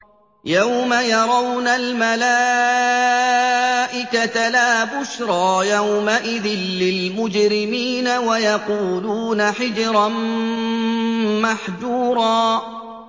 يَوْمَ يَرَوْنَ الْمَلَائِكَةَ لَا بُشْرَىٰ يَوْمَئِذٍ لِّلْمُجْرِمِينَ وَيَقُولُونَ حِجْرًا مَّحْجُورًا